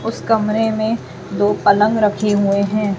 उस कमरे मे दो पलंग रखी हुए हैं।